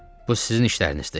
Bu sizin işlərinizdir.